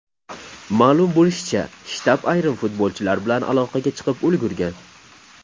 Ma’lum bo‘lishicha, shtab ayrim futbolchilar bilan aloqaga chiqib ulgurgan.